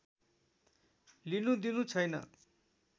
लिनुदिनु छैन